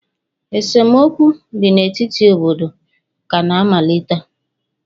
esemokwu dị n'etiti obodo kana-amalite